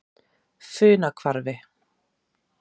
Funahvarfi